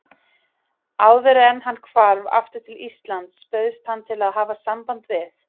Áðuren hann hvarf aftur til Íslands bauðst hann til að hafa samband við